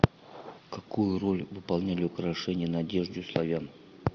какую роль выполняли украшения на одежде у славян